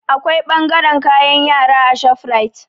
Akwai ɓangaren kayan yara a shofrait